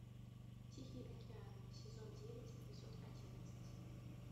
тихий океан сезон девять эпизод одиннадцать